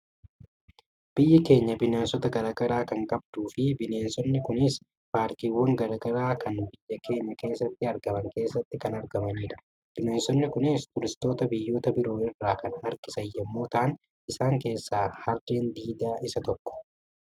Biyyi keenya bineensota gara garaa kan qabduu fi bineensonni kunis paarkiiwwan gara garaa kana biyya keenya keessatti argaman keessatti kan argamanidha. Bineensonni kunis turistoota biyyoota biroo irraa kan harkisan yommuu ta'an isaan keessaa Harreen Diidaa isa tokko.